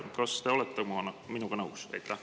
Kas te olete minuga nõus?